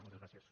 moltes gràcies